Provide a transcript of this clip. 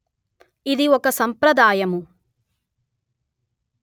ఇది ఒక సంప్రదాయము